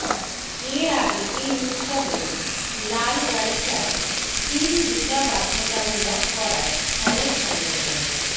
এর আগে এই উৎসবের লালগালিচায় হিল জুতা বাধ্যতামূলক করায় অনেক সমালোচনা